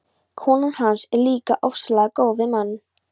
Konan hans er líka ofsalega góð við mann.